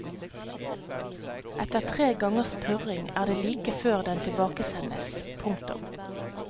Etter tre gangers purring er det like før den tilbakesendes. punktum